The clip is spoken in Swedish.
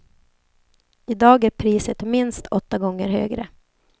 I dag är priset minst åtta gånger högre.